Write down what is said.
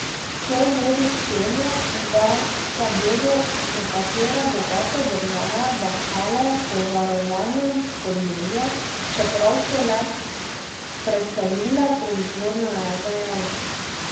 To vodi k temu, da se bodo nekatere bogate države bahale z varovanjem podnebja, čeprav so le preselile proizvodnjo, je dejal.